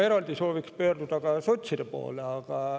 Eraldi sooviks ma pöörduda sotside poole.